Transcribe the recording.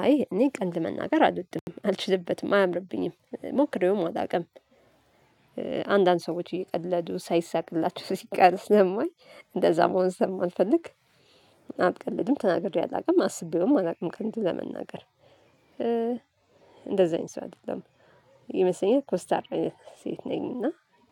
አይ እኔ ቀልድ መናገር አልወድም አልችልበትም አያምርብኝም ሞክሬውም አላውቅም። አንዳንድ ሰዎች እየቀለዱ ሳይሳቅላችሁ ስቀር ስለማይ እንደዛ መሆን ስለማልፈልግ። አልቀልድም ተናግሬ አላውቅም አስቤውም አላውቅም እውነቱን ለመናገር። እንደዛ አይነት ሰው አይደለሁም። ይመስለኛል ኮስታራ አይነት ሴት ነኝ። እና